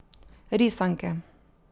Risanke.